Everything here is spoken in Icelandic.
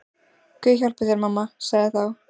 Guð hjálpi þér mamma, sagði þá